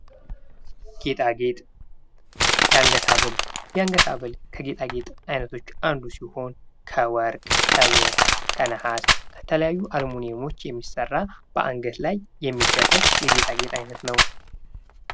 ጌጣጌጥ የአንገት ሀብል የአንገት ሀብል ከጌጣጌጥ አይነቶች አንዱ ሲሆን ከወርቅ ከብር ለመሃስ ከተለያዩ አልሙንየሞች የሚሰራ በአንገት ላይ የሚደረግ የጌጣጌጥ አይነት ነው::